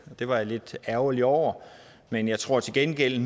det var jeg lidt ærgerlig over men jeg tror til gengæld